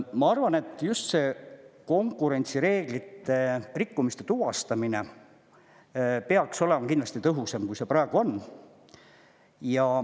Ma arvan, et just see konkurentsireeglite rikkumiste tuvastamine peaks olema kindlasti tõhusam, kui see praegu on.